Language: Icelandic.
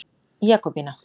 Jakobína